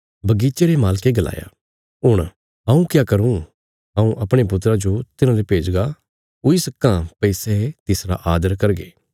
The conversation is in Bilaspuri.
बगीचे रे मालके गलाया हुण हऊँ क्या करूँ हऊँ अपणे पुत्रा जो तिन्हाले भेजगा हुई सक्कां भई सै तिसरा आदर करगे